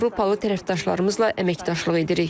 Avropalı tərəfdaşlarımızla əməkdaşlıq edirik.